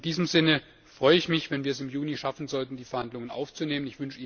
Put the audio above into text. In diesem Sinne freue ich mich, wenn wir es im Juni schaffen sollten, die Verhandlungen aufzunehmen.